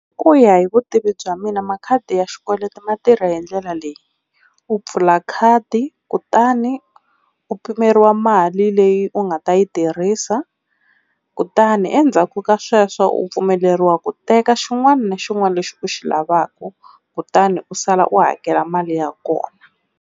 Ku ya hi vutivi bya mina makhadi ya xikweleti ma tirha hindlela leyi, u pfula khadi kutani u pimeriwa mali leyi u nga ta yi tirhisa, kutani endzhaku ka sweswo u pfumeleriwa ku teka xin'wana na xin'wana lexi u xi lavaka kutani u sala u hakela mali ya kona.